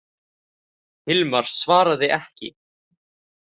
Hilmar svaraði ekki.